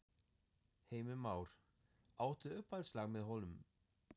Heimir Már: Átt þú uppáhaldslag með honum?